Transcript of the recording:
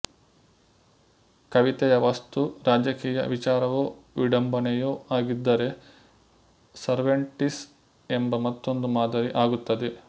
ಕವಿತೆಯ ವಸ್ತು ರಾಜಕೀಯ ವಿಚಾರವೊ ವಿಡಂಬನೆಯೊ ಆಗಿದ್ದರೆ ಸರ್ವೇಂಟಿಸ್ ಎಂಬ ಮತ್ತೊಂದು ಮಾದರಿ ಆಗುತ್ತದೆ